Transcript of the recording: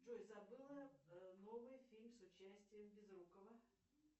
джой забыла новый фильм с участием безрукова